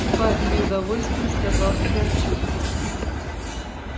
спать с неудовольствием сказал федорчук